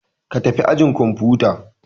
Ka tafi ajin kwamfuta!